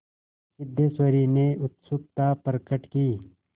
सिद्धेश्वरी ने उत्सुकता प्रकट की